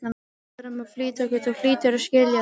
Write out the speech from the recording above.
Við verðum að flýta okkur, þú hlýtur að skilja það.